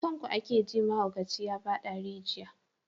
Kan ku ake ji mahaukaci ya fada rijiya.